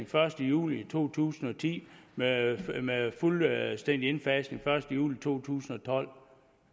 første juli to tusind og ti med fuldstændig indfasning første juli to tusind og tolv